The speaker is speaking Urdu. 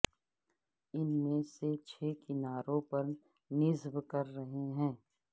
ان میں سے چھ کناروں پر نصب کر رہے ہیں